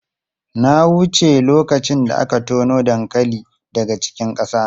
Na wuce lokacin da aka tono dankali daga cikin ƙasa.